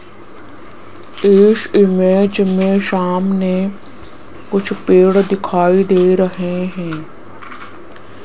इस इमेज मे सामने कुछ पेड़ दिखाई दे रहे है।